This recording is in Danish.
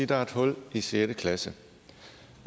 der er et hul i sjette klasse